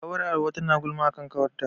Ƙawar Hauwa tana gulma a kan ƙawarta.